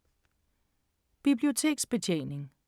Biblioteksbetjening